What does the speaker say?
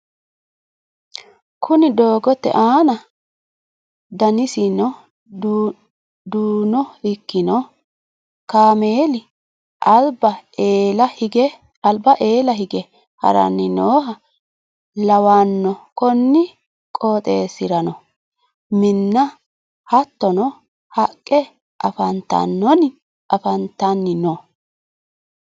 Kuni doogote aana danasino duuno ikkino kaameli alba eela hige haranni nooha lawanno konni qooxesirano minna hattono haqqe afantanni no